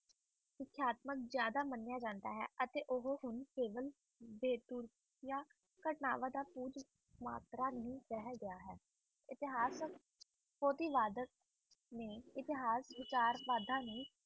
ਜਾਂਦਾ ਹੈ